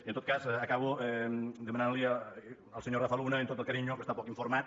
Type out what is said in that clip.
i en tot cas acabo demanant li al senyor rafa luna amb tot l’afecte que està poc informat